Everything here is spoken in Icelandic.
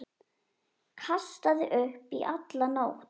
Kastaði upp í alla nótt.